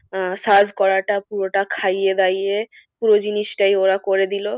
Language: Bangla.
আহ serve করাটা পুরোটা খাইয়ে দাইয়ে পুরো জিনিসটাই ওরা করে দিল।